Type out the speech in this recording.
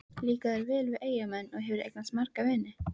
Líkar þér vel við Eyjamenn og hefurðu eignast marga vini?